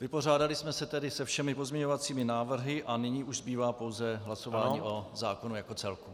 Vypořádali jsme se tedy se všemi pozměňovacími návrhy a nyní už zbývá pouze hlasování o zákonu jako celku.